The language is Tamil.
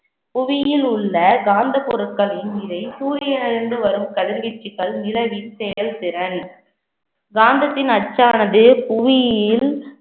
புவியில் உள்ள காந்த பொருட்களின் நிலை சூரியனிலிருந்து வரும் கதிர்வீச்சுக்கள் நிலவின் செயல்திறன் காந்தத்தின் அச்சானது புவியியல்